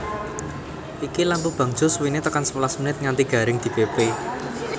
Iki lampu bangjo suwine tekan sewelas menit nganti garing dipepe